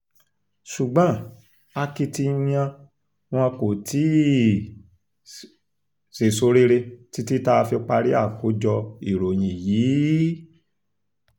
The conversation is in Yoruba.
ṣùgbọ́n akitiyan wọn kò tí um ì sèso rere títí tá a fi parí àkójọ ìròyìn yìí um